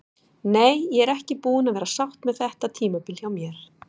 Nei, ég er ekki búin að vera sátt með þetta tímabil hjá mér.